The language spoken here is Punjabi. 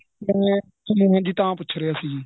ਮੈਂ ਜਿਵੇਂ ਜੀ ਤਾਂ ਪੁੱਛ ਰਿਹਾ ਸੀ